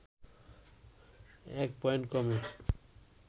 ১ point কমে